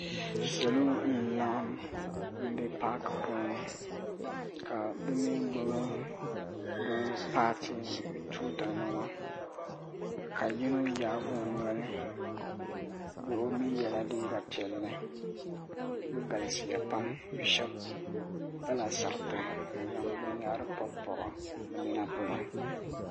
Salo n laɣim m be paaki puuni ka bɛ mee gbibi bɛ paati tuuta nima ka yino yaagi o noli o mee yela liiga piɛlli bɛ galisiya pam sheba pala sariti n zaŋ binyahiri pobipobi bɛ nina polo.